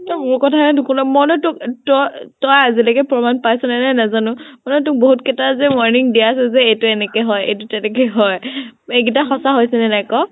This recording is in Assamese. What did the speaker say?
তই মোৰ কথা হে নোশুন । মই নো তো তোক তই তই আজিলৈকে প্ৰমান পাইছ নে নাই নাজানো । মুঠতে তোক বহুত কেইতা warning দিয়া আছে যে এইতো এনেকে হয় এইতো তেনেকে হয় । সেইকেইতা সচাঁ হৈছে নে নাই কʼ ?